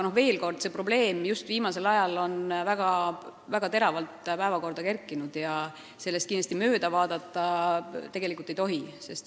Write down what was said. Kogu probleem on just viimasel ajal väga teravalt päevakorrale kerkinud ja sellest mööda vaadata kindlasti ei tohi.